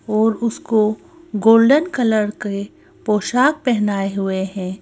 और उसको golden colour के पोशाक पहना ये हुए हैं।